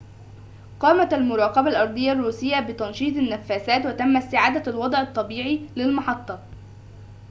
قامت المراقبة الأرضية الروسية بتنشيط النفّثات وتم استعادة الوضع الطبيعي للمحطة